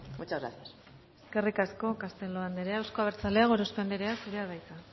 muchas gracias eskerrik asko castelo andrea eusko abertzaleak gorospe andrea zurea da hitza